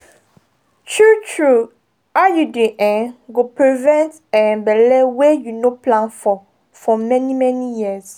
true-true iud um go prevent um belle wey you no plan for for many-many years.